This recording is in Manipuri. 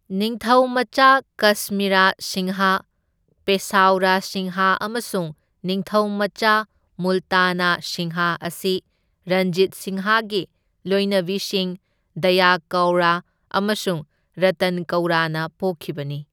ꯅꯤꯡꯊꯧ ꯃꯆꯥ ꯀꯁꯃꯤꯔꯥ ꯁꯤꯡꯍ, ꯄꯦꯁꯥꯎꯔꯥ ꯁꯤꯡꯍ ꯑꯃꯁꯨꯡ ꯅꯤꯡꯊꯧ ꯃꯆꯥ ꯃꯨꯜꯇꯅꯥ ꯁꯤꯡꯍ ꯑꯁꯤ ꯔꯟꯖꯤꯠ ꯁꯤꯡꯍꯒꯤ ꯂꯣꯢꯅꯕꯤꯁꯤꯡ ꯗꯌꯥ ꯀꯧꯔ ꯑꯃꯁꯨꯡ ꯔꯇꯟ ꯀꯧꯔꯅ ꯄꯣꯛꯈꯤꯕꯅꯤ꯫